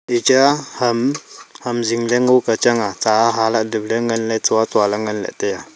iya ham ham zingla ngo kya chang a cha hale nule nganley chua chua ley ngan la tai a.